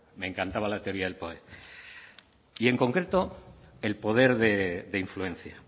me encantaba la teoría del poder y en concreto el poder de influencia